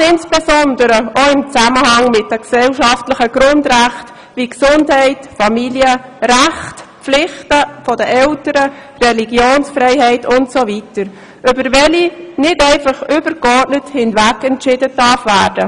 Dies insbesondere auch in Zusammenhang mit den gesellschaftlichen Grundrechten wie Gesundheit, Familie, Rechte und Pflichten der Eltern, Religionsfreiheit usw., über welche nicht einfach übergeordnet hinwegentschieden werden darf.